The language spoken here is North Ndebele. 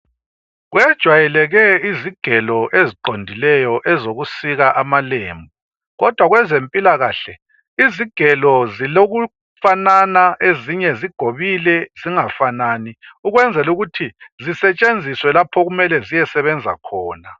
Kwejwayeleke izigelo eziqondileyo ezokusika amalembu kodwa kwezempilakahle izigelo zilokufanana ezinye zigobile zingafanani ukwenzela ukuthi zisetshenziswe lapho okumele ziyesebenza khona